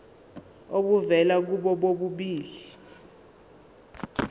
obuvela kubo bobabili